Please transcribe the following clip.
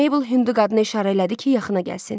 Maybel hündü qadına işarə elədi ki, yaxına gəlsin.